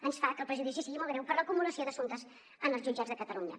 ens fa que el perjudici sigui molt greu per l’acumulació d’assumptes en els jutjats de catalunya